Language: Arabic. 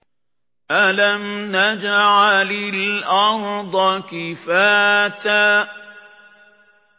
أَلَمْ نَجْعَلِ الْأَرْضَ كِفَاتًا